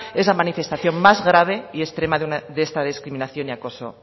es la manifestación más grave y extrema de esta discriminación y acoso